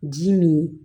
Ji nin